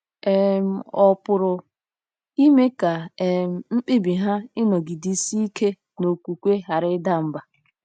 um Ọ̀ pụrụ ime ka um mkpebi ha ịnọgidesi ike n'okwukwe ghara ịda mbà?